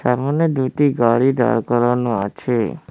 সামোনে দুইটি গাড়ি দাড় করানো আছে।